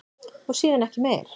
Og síðan ekki meir?